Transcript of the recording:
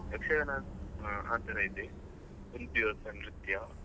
ಯಕ್ಷಗಾನ ಆತರ ಇದೆ ಒಂದು ದಿವಸ ನೃತ್ಯ ಹಾಗೆ.